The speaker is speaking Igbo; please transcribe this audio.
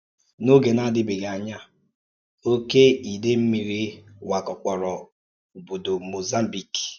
N’ógè na-adìbèghì ànyà, òkè ìdèí mmìrì wàkàpòrò òbòdò Mozambique.